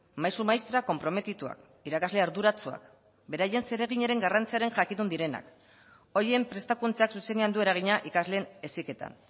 maisu maistra konprometituak irakasle arduratsuak beraien zereginaren garrantziaren jakitun direnak horien prestakuntzak zuzenean du eragina ikasleen heziketan